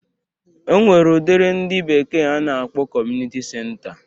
E nwere udiri ndị bekee na-akpọ kọmunịti senta